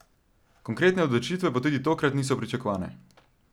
Konkretne odločitve pa tudi tokrat niso pričakovane.